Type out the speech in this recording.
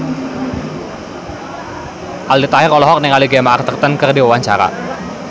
Aldi Taher olohok ningali Gemma Arterton keur diwawancara